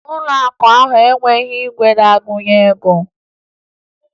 Ụlọakụ ahụ enwebughi igwe na-agụnye ego